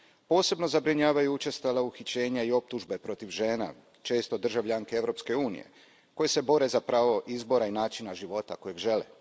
Posebno zabrinjavajuća su učestala uhićenja i optužbe protiv žena, često državljanke Europske unije, koje se bore za pravo izbora i načina života koji žele.